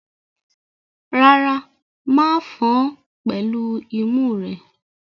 Rárá, ma fan án pẹ̀lú imú rẹ.